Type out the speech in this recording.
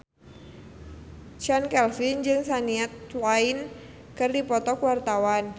Chand Kelvin jeung Shania Twain keur dipoto ku wartawan